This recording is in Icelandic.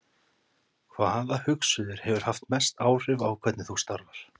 Hvaða hugsuður hefur haft mest áhrif á hvernig þú starfar?